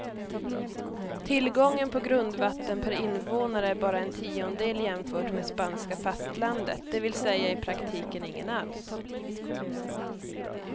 Tillgången på grundvatten per invånare är bara en tiondel jämfört med spanska fastlandet, det vill säga i praktiken ingen alls.